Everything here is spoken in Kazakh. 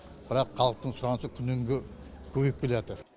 бірақ халықтың сұранысы күннен күнге көбейіп келе жатыр